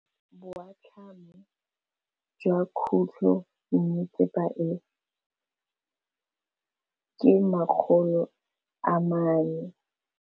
Boatlhamô jwa khutlonnetsepa e, ke 400.